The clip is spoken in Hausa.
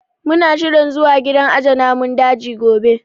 Mu na shirin zuwa gidan aje namun daji gobe